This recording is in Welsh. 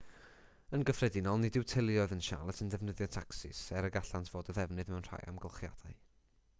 yn gyffredinol nid yw teuluoedd yn charlotte yn defnyddio tacsis er y gallant fod o ddefnydd mewn rhai amgylchiadau